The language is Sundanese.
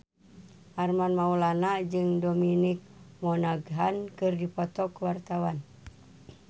Armand Maulana jeung Dominic Monaghan keur dipoto ku wartawan